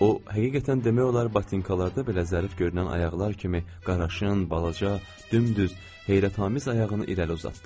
O həqiqətən demək olar batinkalarda belə zərif görünən ayaqlar kimi qaraşın, balaca, dümdüz, heyrətamiz ayağını irəli uzatdı.